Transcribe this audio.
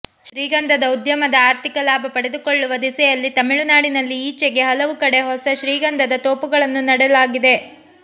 ಶ್ರೀಗಂಧದ ಉದ್ಯಮದ ಆರ್ಥಿಕ ಲಾಭ ಪಡೆದುಕೊಳ್ಳುವ ದಿಸೆಯಲ್ಲಿ ತಮಿಳುನಾಡಿನಲ್ಲಿ ಈಚೆಗೆ ಹಲವು ಕಡೆ ಹೊಸ ಶ್ರೀಗಂಧದ ತೋಪುಗಳನ್ನು ನೆಡಲಾಗಿದೆ